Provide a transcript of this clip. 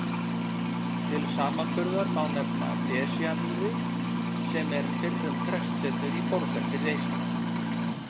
Til samanburðar má nefna Desjarmýri sem er fyrrum prestsetur í Borgarfirði eystra.